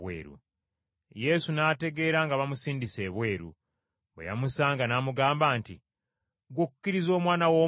Yesu n’ategeera nga bamusindise ebweru. Bwe yamusanga n’amugamba nti, “Ggwe okkiriza Omwana w’Omuntu?”